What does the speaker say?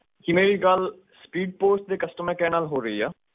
ਕੀ ਮੇਰੀ ਗੱਲ speedpost ਦੇ customercare ਨਾਲ ਹੋ ਰਹੀ ਆ